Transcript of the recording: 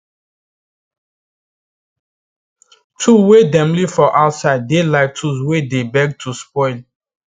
tool wey dem leave for outside dey like tool wey dey beg to spoil